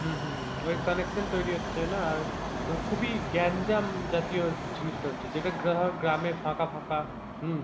হম হম ওই connection তৈরি হচ্ছে না আর খুব ই গ্যাঞ্জাম জাতীয় জিনিসটা হচ্ছে যেটা ধর গ্রামে ফাকা ফাকা হম